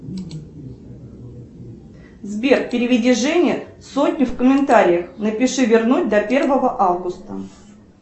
сбер переведи жене сотню в комментариях напиши вернуть до первого августа